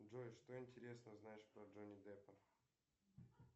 джой что интересного знаешь про джонни деппа